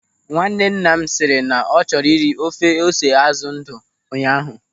Nwannenna m sịrị na ọ chọrọ ịra ofe ose azụ ndụ ụnyaahụ.